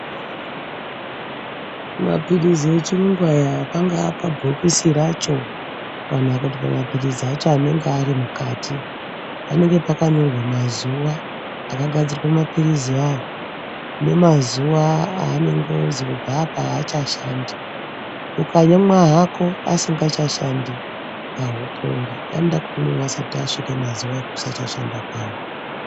Mapilizi echiyungu aya pangapabhokisi racho kana kuti pamapilizi acho anenge ari mukati panenge pakanyorwa mazuwa akagadzirwa mapiliziwo awawo nemazuwa anozobvawo achashandi. Ukamwa hako asingachashandi awupori. Anoda kumwiwa asati asvika mazuwa ekusashanda kwawo.